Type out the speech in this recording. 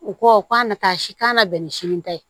U ko k'a na taa si k'a na bɛn ni sini ta ye